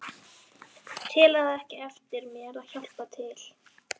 Tel það ekkert eftir mér að hjálpa til.